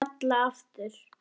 Kalla aftur.